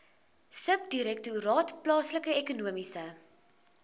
subdirektoraat plaaslike ekonomiese